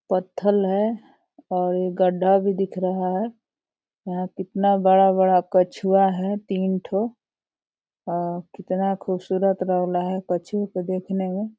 है और गड्डा भी दिख रहा है और कितना बड़ा-बड़ा कछुआ है तीन थोल और कितना खूबसूरत रेला है कछुओं को देखने में।